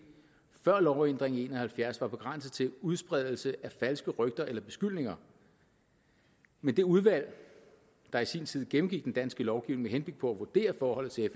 før lovændringen i nitten en og halvfjerds var begrænset til udspredelse af falske rygter eller beskyldninger men det udvalg der i sin tid gennemgik den danske lovgivning med på at vurdere forholdet til